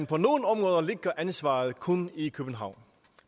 på nogle områder ligger ansvaret kun i københavn